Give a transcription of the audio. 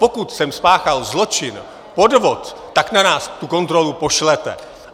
Pokud jsem spáchal zločin, podvod, tak na nás tu kontrolu pošlete!